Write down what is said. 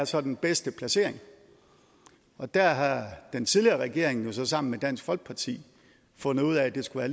så er den bedste placering og der har den tidligere regering jo så sammen med dansk folkeparti fundet ud af at det skulle